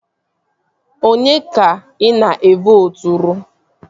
Onye ka ị na-evooturu?